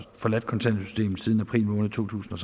forladt kontanthjælpssystemet siden april totusinde